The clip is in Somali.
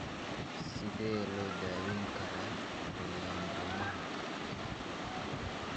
Sidee loo daweyn karaa polyembryoma-ha ?